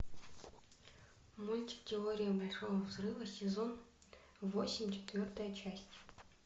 мультик теория большого взрыва сезон восемь четвертая часть